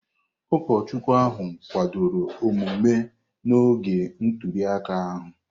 Ụkọchukwu ahụ kwadoro omume n'oge ntuli aka ahụ.